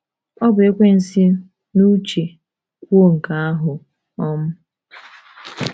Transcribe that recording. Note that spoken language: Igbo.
O bu Ekwensu n’uche kwuo nke ahụ. um